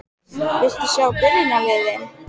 Viltu sjá byrjunarliðin?